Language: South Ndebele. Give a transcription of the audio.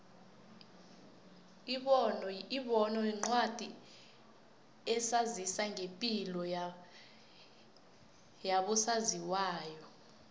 ibono yincwadi esazisa ngepilo yabo saziwayo